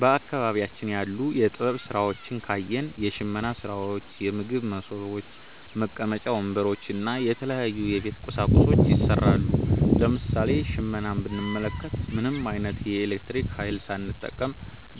በአካባቢያችን ያሉ የጥበብ ሥራዎችን ካየን፣ የሽመና ሥራዎች፣ የምግብ መሶቦች፣ መቀመጫ ወንበሮች እና የተለያዩ የቤት ቁሳቁሶች ይሠራሉ። ለምሳሌ ሽመናን ብንመለከት፣ ምንም ዓይነት የኤሌክትሪክ ኃይል ሳይጠቀም